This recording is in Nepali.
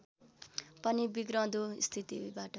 पनि बिग्रँदो स्थितिबाट